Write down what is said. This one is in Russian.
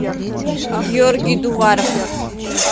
георгий дуваров